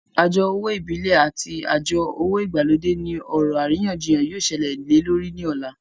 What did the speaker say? Àjọ owó ìbílẹ̀ àti àjọ owó ìgbàlódé ní ọ̀rọ̀ àríyànjiyàn yóò sẹlẹ̀ lé lórí ní ọ̀la